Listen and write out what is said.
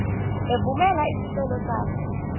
evumela isicelo sakho